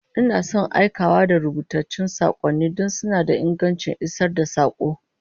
Ina son aikawa da rubutattun sakonni don suna da ingancin isar da sako